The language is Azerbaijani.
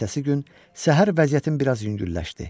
Ertəsi gün səhər vəziyyətim biraz yüngülləşdi.